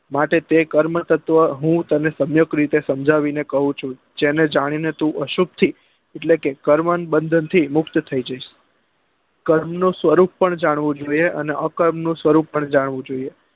માટે તે કર્મ તત્વ હું તને સયુંકત રીતે સમજાવી ને કઉં છું જેને જાણી ને તું અશુક્તી એટલે કે ક્રમન બંધન થી મુક્ત થઇ જઈસ કર્મ નો સ્વરૂપ પણ જાણવો જોઈએ અને અ કર્મ નો સ્વરૂપ પણ જાણવું જોઈએ